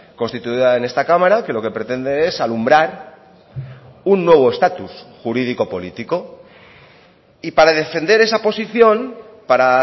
constituida en esta cámara que lo que pretende es alumbrar un nuevo estatus jurídico político y para defender esa posición para